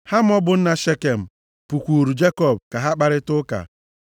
Hamọ bụ nna Shekem, pụkwuuru Jekọb ka ha kparịta ụka.